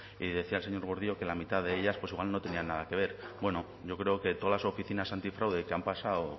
y decía el señor gordillo que la mitad de ellas pues igual no tenían nada que ver bueno yo creo que todas las oficinas antifraude que han pasado